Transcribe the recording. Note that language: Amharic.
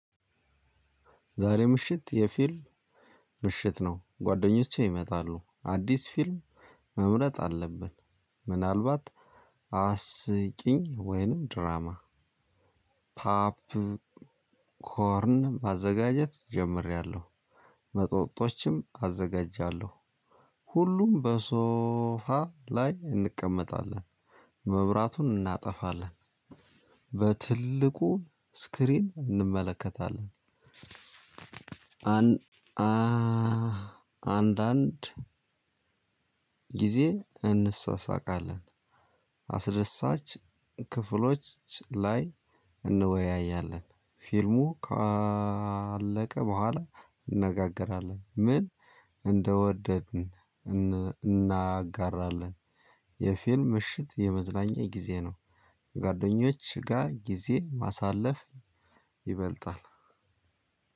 ዛሬ ምሽት የፊልም ምሽት ነው። ጓደኞቼ ይመጣሉ አዲስ ፊልም መምረጥ አለብን ምናልባት አስቂኝ ወይንም ድራማ ፓፕኮርን ማዘጋጀት ጀምሬያለሁ። መጠጦችም አዘጋጃለሁ። ሁሉም በሶፋ ላይ እንቀመጣለን። መብራቱን እናጠፋለን በትልቁ ስክሪን እንመለከታለን። አንድ አንድ ጊዜ እንሳሳቃለን። አስደሳች ክፍሎች ላይ እንወያያለን። ፊልሙ ካለቀ በኋላ እንነጋገራለን። ምን እንደወደድን እናጋራለን። የፊልም እሽት የመዝናኛ ጊዜ ነው። ጓደኞች ጋር ጊዜ ማሳለፍ ይበልጣል።